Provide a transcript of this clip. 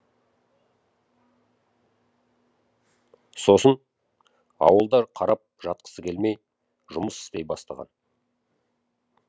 сосын ауылда қарап жатқысы келмей жұмыс істей бастаған